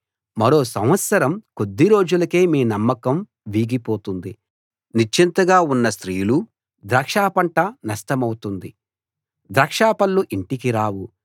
మరో సంవత్సరం కొద్ది రోజులకి మీ నమ్మకం వీగిపోతుంది నిశ్చింతగా ఉన్న స్త్రీలూ ద్రాక్షపంట నష్టమౌతుంది ద్రాక్షపళ్ళు ఇంటికి రావు